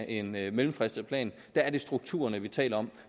en mellemfristet plan der er det strukturerne vi taler om